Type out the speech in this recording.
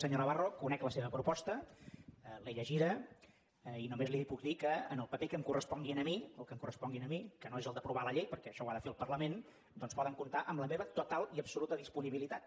senyor navarro conec la seva proposta l’he llegida i només li puc dir que en el paper que em correspongui a mi que no és el d’aprovar la llei perquè això ho ha de fer el parlament doncs poden comptar amb la meva total i absoluta disponibilitat